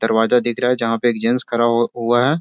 दरवाजा दिख रहा है जहां पे एक जेन्‍ट्स खड़ा हु हुआ है।